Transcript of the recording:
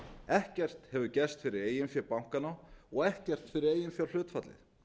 ekkert hefur gerst fyrir eigin fé bankanna og ekkert fyrir eiginfjárhlutfallið